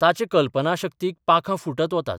ताचे कल्पनाशक्तीक पाखां फुटत वतात.